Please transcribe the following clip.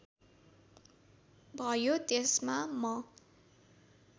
भयो त्यसमा म